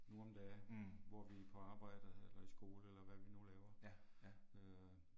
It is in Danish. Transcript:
Nu om dage, hvor vi er på arbejde eller i skole eller hvad vi nu laver. Øh